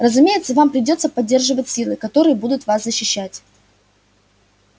разумеется вам придётся поддерживать силы которые будут вас защищать